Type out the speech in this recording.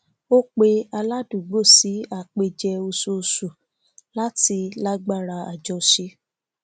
ó pe aládùúgbò sí àpèjẹ oṣooṣu láti lágbára àjọṣe